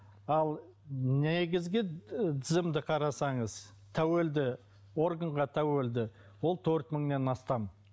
ал негізгі і тізімді қарасаңыз тәуелді органға тәуелді ол төрт мыңнан астам